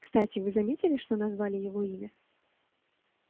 кстати вы заметили что назвали его имя